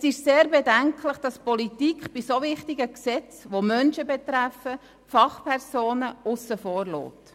Es ist sehr bedenklich, dass die Politik bei solch wichtigen, Menschen betreffenden Gesetzen Fachpersonen übergeht.